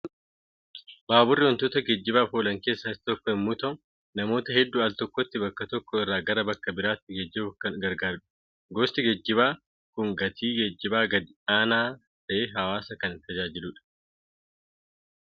Baaburri wantoota geejjibaaf oolan keessaa isa tokko yommuu ta'u namoota hedduu al tokkotti bakka tokko irraa gara bakka biraatti geejjibuuf kan gaggaarudha. Gosti geejjibaa kun gatii geejjibaa gadi aanaa ta'een hawwaasa kan tajaajiludha.